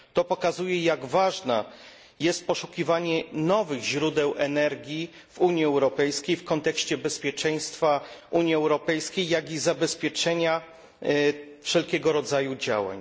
To pokazuje, jak ważne jest poszukiwanie nowych źródeł energii w Unii Europejskiej w kontekście zarówno bezpieczeństwa Unii Europejskiej, jak i zabezpieczenia wszelkiego rodzaju działań.